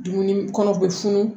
Dumuni kɔnɔ u be funu